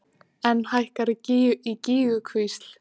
Enn hækkar í Gígjukvísl